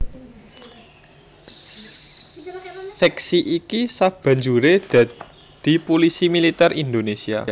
Sèksi iki sabanjuré dadi Pulisi Militer Indonésia